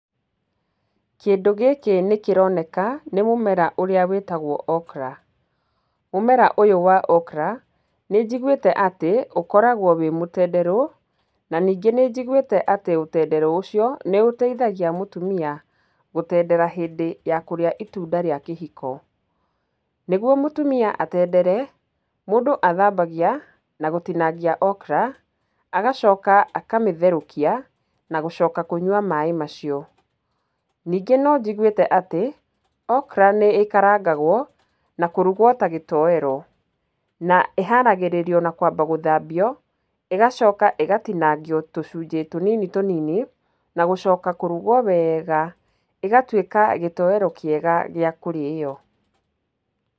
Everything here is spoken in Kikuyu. Kĩndũ gĩkĩ nĩkĩroneka nĩ mũmera ũrĩa wĩtagwo okra. Mũmera ũyũ wa okra nĩ njiguĩte atĩ ũkoragwo wĩ mũtenderũ, na ningĩ nĩnjiguĩte atĩ ũtenderũ ũcio nĩ ũteithagia mũtumia gũtendera hĩndĩ ya kũrĩa itunda rĩa kĩhiko. Nĩgwo mũtumia atendere, mũndũ athambagia na gũtinangia okra, agacoka akamĩtherũkia na gũcoka kũnyua maaĩ macio. Ningĩ no njiguĩte atĩ okra nĩ ĩkarangagwo na kũrugwo ta gĩtoero, na ĩharagĩrĩrio na kwamba gũthambio, ĩgacoka ĩgatinangio tũcunjĩ tũnini tũnini, na gũcoka kũrugwo wega ĩgatuĩka gĩtoero kĩega gĩa kũrĩyo.